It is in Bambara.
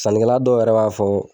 Sanikɛla dɔ yɛrɛ b'a fɔ